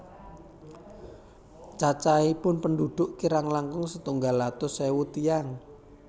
Cacahipun pendhudhuk kirang langkung setunggal atus ewu tiyang